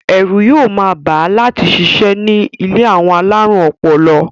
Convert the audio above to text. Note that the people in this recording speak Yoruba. Ẹ̀rù yóò máa bà á láti sisẹ́ ní ilé àwọn alárùn ọpọlọ.